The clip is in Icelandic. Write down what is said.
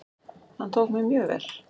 Hann tók mér mjög vel.